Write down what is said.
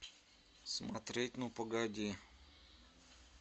смотреть ну погоди